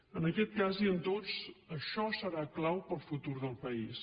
en aquest cas i en tots això serà clau per al futur del país